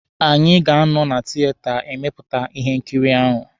Anyị ga-anọ na tieta emepụta Ihe nkiri ahụ